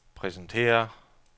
præsenterer